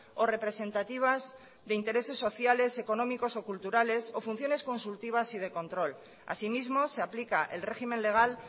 o representativas de intereses sociales económicos o culturales o funciones consultivas y de control asimismo se aplica el régimen legal